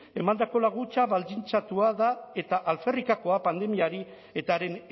emandako laguntza baldintzatua da eta alferrikakoa pandemiari eta haren